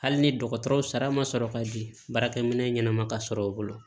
Hali ni dɔgɔtɔrɔw sara ma sɔrɔ ka di baarakɛ minɛn ɲɛnɛma ka sɔrɔ u bolo